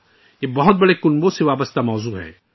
یہ بڑے خاندانوں سے متعلق موضوع ہے